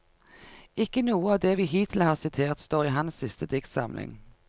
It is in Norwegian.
Ikke noe av det vi hittil har sitert, står i hans siste diktsamling.